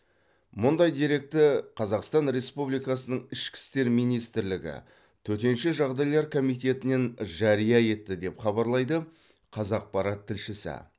мұндай деректі қазақстан республикасының ішкі істер министрлігі төтенше жағдайлар комитетінінен жария етті деп хабарлайды қазақпарат тілшісі